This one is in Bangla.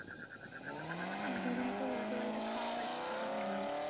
এই কদিন তো উল্টো পাল্টা খাওয়া হয়ছে করা হয় নি